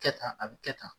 Kɛ tan a bɛ kɛ tan